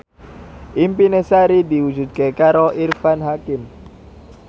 impine Sari diwujudke karo Irfan Hakim